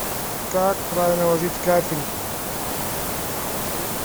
как правильно ложить кафель